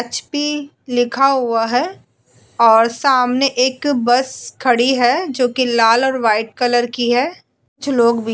HP. लिखा हुआ है और सामने एक बस खड़ी है जो कि लाल और व्हाइट कलर की है। कुछ लोग भी --